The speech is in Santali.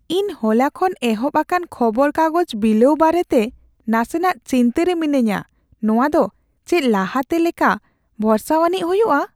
ᱤᱟ ᱦᱚᱞᱟ ᱠᱷᱚᱱ ᱮᱦᱚᱵ ᱟᱠᱟᱱ ᱠᱷᱚᱵᱚᱨ ᱠᱟᱜᱚᱡᱽ ᱵᱤᱞᱟᱹᱣ ᱵᱟᱨᱮᱛᱮ ᱱᱟᱥᱮᱱᱟᱜ ᱪᱤᱱᱛᱟᱹ ᱨᱮ ᱢᱤᱱᱟᱹᱧᱟ ᱾ ᱱᱚᱶᱟ ᱫᱚ ᱪᱮᱫ ᱞᱟᱦᱟᱛᱮ ᱞᱮᱠᱟ ᱵᱷᱚᱨᱥᱟᱣᱟᱱᱤᱡ ᱦᱩᱭᱩᱜᱼᱟ ?